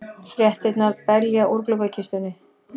Fréttirnar belja úr gluggakistunni.